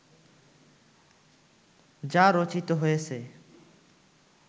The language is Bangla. যা রচিত হয়েছে